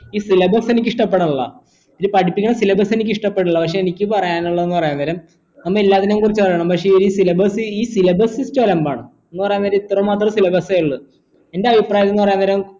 ഈ syllabus എനിക്ക് ഇഷ്ടപെടണില്ല പഠിപ്പിക്കുന്ന syllabus എനിക്ക് ഇഷ്ടപെടണില്ല പക്ഷെ എനിക്ക് പറയാനുള്ളത് എന്ന് പറയുന്നരം ഒന്ന് എല്ലാത്തിനേയു കുറിച്ച് പറയണം പക്ഷെ ഈ syllabus syllabus sysytem അലമ്പാണ് എന്ന് പറയുന്നരം ഇത്ര മാത്രോ syllabus ഒള്ളു എന്റെ അഭിപ്രായം എന്ന് പറയുന്നരം